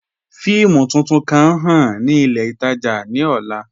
Fíìmù tuntun kan ǹ ḥàn ni ilẹ̀ itaajà ni ọ̀là